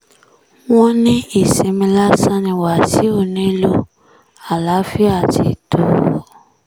wọ́n ní ìsinmi lásán ni wàsíù nílò àlàáfíà ti tó o